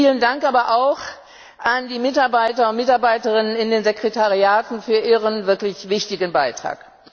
Vielen Dank aber auch an die Mitarbeiter und Mitarbeiterinnen in den Sekretariaten für ihren wirklich wichtigen Beitrag.